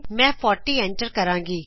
ਮੈਂ 40 ਐਂਟਰ ਕਰਾਂਗੀ